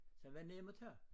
Den var dem at tage